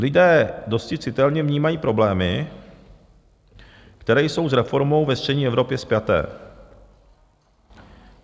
Lidé dosti citelně vnímají problémy, které jsou s reformou ve střední Evropě spjaté.